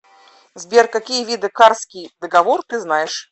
сбер какие виды карский договор ты знаешь